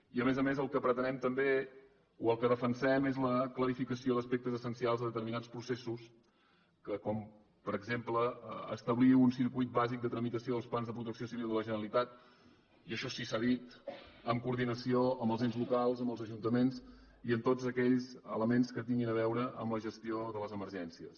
i a més a més el que pretenem també o el que defensem és la clarificació d’aspectes essencials de determinats processos com per exemple establir un circuit bàsic de tramitació dels plans de protecció civil de la generalitat i això sí que s’ha dit en coordinació amb els ens locals amb els ajuntaments i amb tots aquells elements que tinguin a veure amb la gestió de les emergències